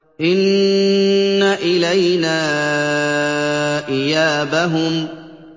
إِنَّ إِلَيْنَا إِيَابَهُمْ